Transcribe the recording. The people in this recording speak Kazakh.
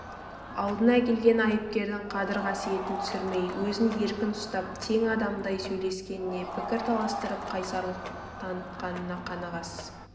алдына келген айыпкердің қадыр-қасиетін түсірмей өзін еркін ұстап тең адамдай сөйлескеніне пікір таластырып қайсарлық танытқанына қаны қас